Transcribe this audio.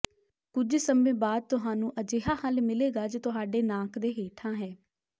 ਕੁਝ ਸਮੇਂ ਬਾਅਦ ਤੁਹਾਨੂੰ ਅਜਿਹਾ ਹੱਲ ਮਿਲੇਗਾ ਜੋ ਤੁਹਾਡੇ ਨਾਕ ਦੇ ਹੇਠਾਂ ਹੈ